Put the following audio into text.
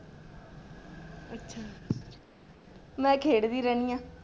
ਮੈਂ ਖੇਡਦੀ ਰਹਿੰਦੀ ਹਾਂ।